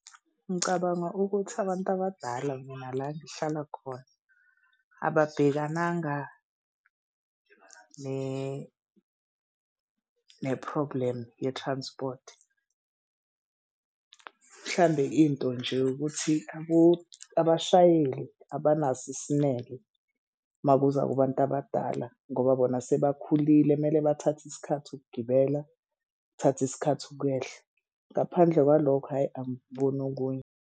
Ngicabanga ukuthi abantu abadala mina la ngihlala khona ababhekananga ne-problem ye-transport. Mhlawumbe into nje ukuthi abo abashayeli abanaso isineke uma kuza kubantu abadala ngoba bona sebakhulile. Kumele bathathe isikhathi ukugibela kuthathe isikhathi ukwehla. Ngaphandle kwalokho hhayi angikuboni okunye.